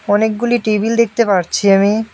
অনেকগুলি টেবিল দেখতে পারছি আমি।